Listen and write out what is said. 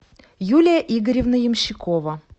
юлия игоревна ямщикова